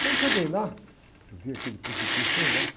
Quando cheguei lá, vi aquele precipício lá embaixo.